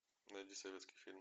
найди советский фильм